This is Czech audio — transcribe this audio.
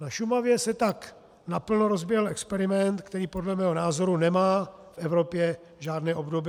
Na Šumavě se tak naplno rozběhl experiment, který podle mého názoru nemá v Evropě žádné obdoby.